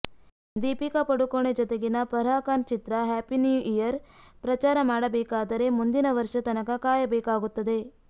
ದೀಪಿಕಾ ಪಡುಕೋಣೆ ಜತೆಗಿನ ಫರ್ಹಾ ಖಾನ್ ಚಿತ್ರ Happy New Year ಪ್ರಚಾರ ಮಾಡಬೇಕಾದರೆ ಮುಂದಿನ ವರ್ಷ ತನಕ ಕಾಯಬೇಕಾಗುತ್ತದೆ